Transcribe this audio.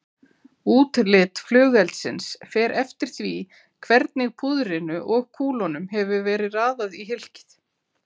Útlit flugeldsins fer eftir því hvernig púðrinu og kúlunum hefur verið raðað í hylkið.